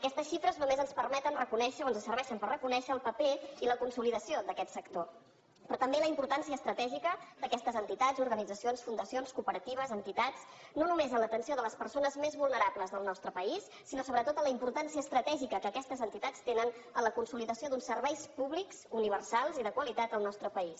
aquestes xifres només ens permeten reconèixer o ens serveixen per reconèixer el paper i la consolidació d’aquest sector però també la importància estratègica d’aquestes entitats i organitzacions fundacions cooperatives entitats no només a l’atenció de les persones més vulnerables del nostre país sinó sobretot en la importància estratègica que aquestes entitats tenen en la consolidació d’uns serveis públics universals i de qualitat al nostre país